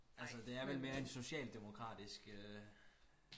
altså det er vel mere en socialdemokratisk øh